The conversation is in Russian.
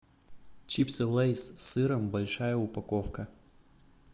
чипсы лейс с сыром большая упаковка